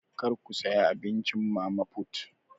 Kar ku saya abincin mama put!